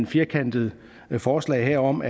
firkantet forslag om